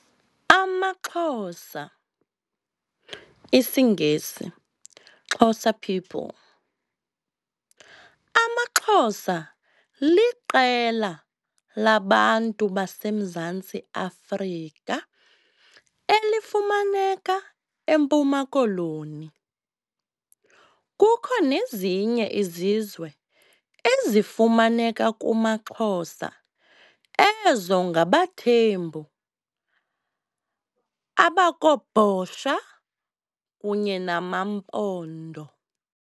'AmaXhosa', isiNgesi, "Xhosa people", - AmaXhosa liqela labantu baseMzantsi Afrika elifumaneka eMpuma Koloni. Kukho nezinye izizwe ezifumaneka kumaXhosa ezo ngabaThembu, abakoBhosha kunye nama Mpondo.